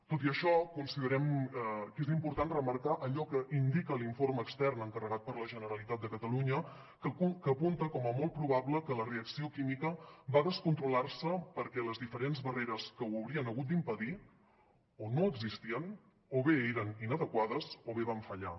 tot i això considerem que és important remarcar allò que indica l’informe extern encarregat per la generalitat de catalunya que apunta com a molt probable que la reacció química va descontrolar se perquè les diferents barreres que ho haurien hagut d’impedir o no existien o bé eren inadequades o bé van fallar